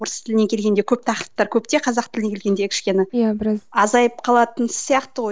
орыс тіліне келгенде көп тақырыптар көп те қазақ тіліне келгенде кішкене азайып қалатын сияқты ғой